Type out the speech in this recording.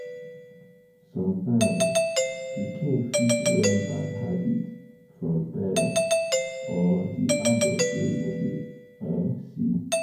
Sometimes pikin fit learn bad habit from parents or di adult wey im dey um see